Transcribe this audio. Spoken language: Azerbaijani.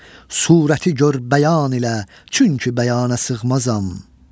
Surəti gör bəyan ilə, çünki bəyanə sığmazam.